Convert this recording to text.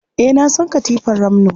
Eh, na san katifar ramno.